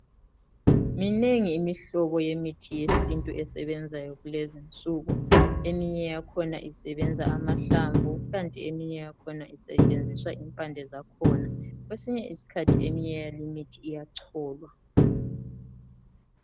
Minengi imihlobo yemithi yesintu esebenzayo kulezi insuku eminye yakhona isebenza amahlamvu kukanti eminye yakhona kusetshenziswa impande zakhona kwesinye isikhathi eminye yalimithi iyacholwa.